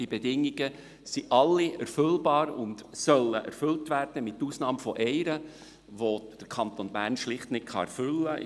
Diese Bedingungen sind alle erfüllbar und sollen erfüllt werden, mit einer Ausnahme, die der Kanton Bern schlicht nicht erfüllen kann.